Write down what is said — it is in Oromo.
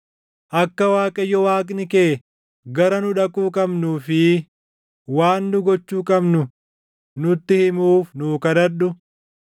Akka Waaqayyo Waaqni kee gara nu dhaquu qabnuu fi waan nu gochuu qabnu nutti himuuf nuu kadhadhu.”